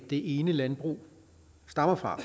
det ene landbrug stammer fra